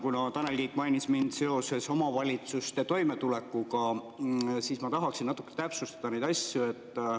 Kuna Tanel Kiik mainis mind seoses omavalitsuste toimetulekuga, siis ma tahaksin natuke täpsustada neid asju.